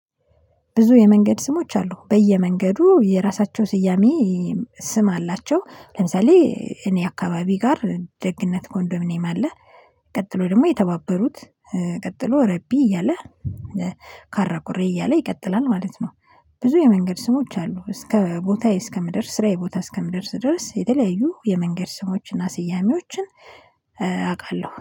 ብዙ የመንገድ ስሞች አሉ በየመንገዱ የራሳቸው ስያሜ ስም አላቸው። ለምሳሌ እኔ አካባቢ ጋር ደግነት ኮንዶምኒየም አለ። ቀጥሎ ደግሞ የተባበሩት ቀጥሎ ረቢ እያለ ካራኩሬ እያለ ይቀጥላል ማለት ነው። ብዙ የመንገድ ስሞች አሉ እስከ ቦታዬ እስከ እስከምደርስ ስራዬ ቦታ እስከምደርስ ድረስ የተለያዩ የመንገድ ስሞችን እና ስያሜዎችን። አውቃለሁ